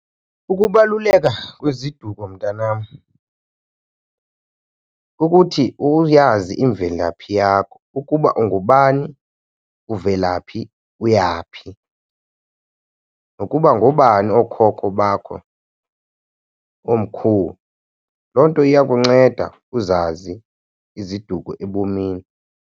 Ukubaluleka kweziduko, mntanam, ukuthi uyazi imvelaphi yakho ukuba ungubani, uvela phi, uyaphi. Nokuba ngoobani ookhokho bakho, oomkhulu loo nto iyakunceda uzazi iziduko ebomini.